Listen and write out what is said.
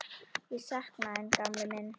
Ég sakna þín, gamli minn.